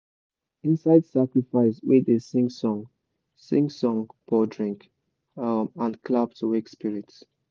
inside sacrifice we dey sing song sing song pour drink um and clap to wake spirits.